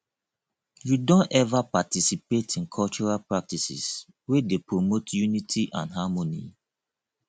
you don ever participate in cultural practices wey dey promote unity and harmony